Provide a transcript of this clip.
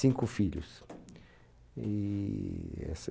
Cinco filhos, e esse